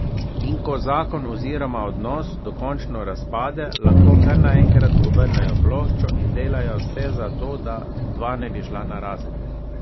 In ko zakon oziroma odnos dokončno razpade, lahko kar naenkrat obrnejo ploščo in delajo vse za to, da dva ne bi šla narazen.